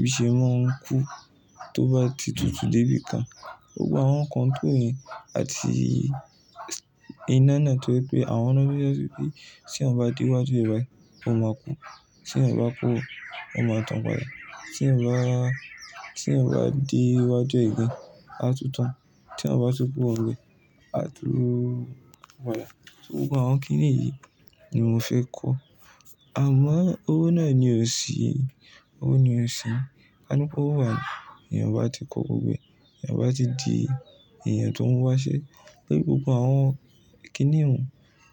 bí ṣe máa ń kú tó bá ti tutù dé bí ìkan. Gbogbo àwọn control yi àti iná náà nítorí pé àwọn náà ti rí pé tí a bá díwájú rẹ̀ báyìí, ó máa kú. Tí eyan bá kúrò, ó máa tàn padà. Tí eyan, tí eyan bá de níwájú re again, á tutan. Tí eyan bá tú kúrò níbẹ̀ aku padà gbogbo àwọn kínìyí ni mo fẹ́ kọ́. Àmọ́ owó náà ni ò sí, owó ni ò sí. Kanipe owo wá ni èyàn o bá ti kọ́ gbogbo e, èyàn bá ti di èyàn tó n wá ṣe. Torí gbogbo àwọn kíni òun,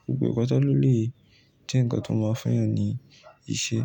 gbogbo e pata ló lè jẹ́ nǹkan tó máa fún èyàn ní ìṣe.